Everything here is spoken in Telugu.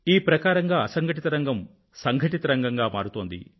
ఈ ప్రకారంగా అసంఘటిత రంగం సంఘటిత రంగంగా మారుతోంది